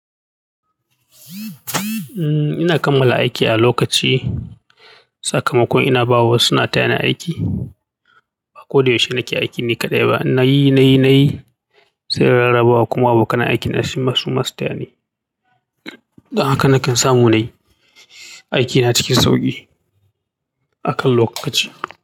Ina kammala aiki a lokaci, sakamakon ina bawa wasu suna tayani aiki. Ba ko da yaushe nake aiki ni kaɗai ba. Na yi, na yi, na yi sai in rarabawa kuma abokan aiki na su ma su ma su tayani. Don haka nakan samu nayi aikina cikin sauki akan lokaci.